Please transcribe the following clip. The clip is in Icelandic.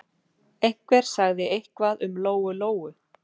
Einhver sagði eitthvað um Lóu-Lóu.